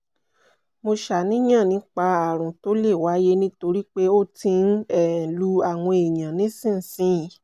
mo ṣàníyàn nípa àrùn tó lè wáyé nítorí pé ó ti ń um lu àwọn èèyàn nísinsìnyí